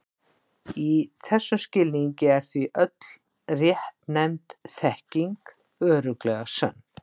Í þessum skilningi er því öll réttnefnd þekking örugglega sönn.